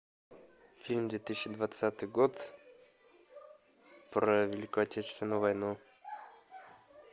фильм две тысячи двадцатый год про великую отечественную войну